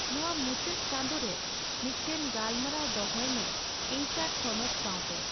ᱱᱚᱣᱟ ᱢᱩᱪᱟᱹᱫ ᱪᱟᱸᱫᱳ ᱨᱮ ᱢᱤᱫᱴᱟᱝ ᱜᱟᱞᱢᱟᱨᱟᱣ ᱫᱚᱦᱚᱭ ᱢᱮ ᱮᱭᱪᱹ ᱟᱨᱹ ᱛᱷᱚᱱᱚᱛ ᱥᱟᱣᱛᱮ